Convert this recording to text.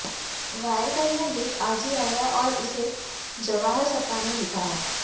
wire का यह लेख आज ही आया है और इसे जवाहर सरकार ने लिखा है